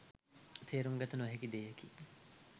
තේරුම්ගත නොහැකි දෙයකි